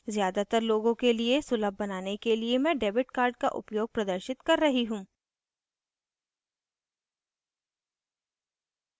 ज़्यादातर लोगों के लिए सुलभ बनाने के लिए मैं debit card का उपयोग प्रदर्शित कर रही हूँ